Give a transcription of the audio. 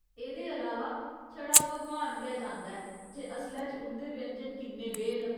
एह्दे अलावा, छड़ा भगवान गै जानदा ऐ जे असलै च उं'दे व्यंजन किन्ने बेहे न।